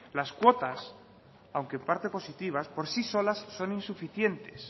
las cuotas aunque parte positivas por sí solas son insuficientes